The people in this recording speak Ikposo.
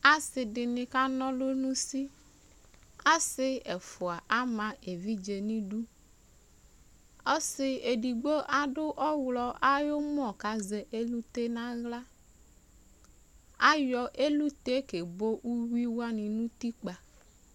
Ase de ne ka na alu no usi Ase ɛfua ama evidze neduƆse edigbo ado ɔwlɔ ayumɔ kazɛ elute nahla Ayɔ elute kebo uwi wane no utikpa